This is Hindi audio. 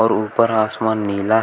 और ऊपर आसमान नीला है।